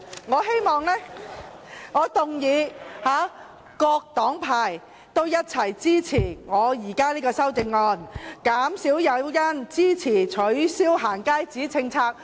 我希望，我動議，各黨派共同支持我提出的修正案，減少"假難民"來港誘因，支持取消"行街紙"的政策。